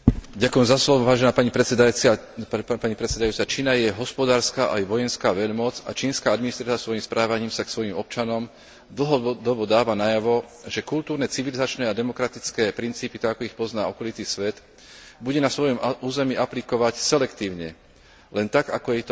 Čína je hospodárska aj vojenská veľmoc a čínska administratíva svojím správaním sa k svojim občanom dlhodobo dáva najavo, že kultúrne, civilizačné a demokratické princípy tak, ako ich pozná okolitý svet bude na svojom území aplikovať selektívne, len tak, ako sa jej to hodí na ovládanie jej krajiny.